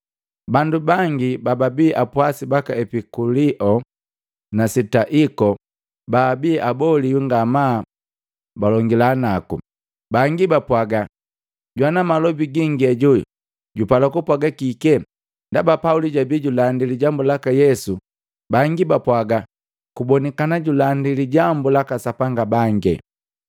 Bandu bangi bababii apwasi baka Epikulio na Sitoiko baabi aboliwi ngamaa balongila naku. Bangi bapwaga, “Jwana malobi gingi ajo jupala kupwaga kike?” Ndaba Pauli jabi julandi Lijambu laka Yesu nuku yoka kwaki, bangi bapwaga, “Kubonikana julandi lijambu laka sapanga bange.”